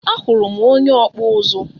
Ahuru m onye ọkpụ ụzụ.